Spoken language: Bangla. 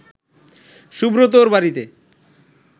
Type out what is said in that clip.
সুব্রতর বাড়িতে